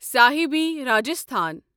صاحبی Rajasthan